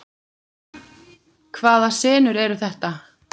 Hvaða senur eru þetta?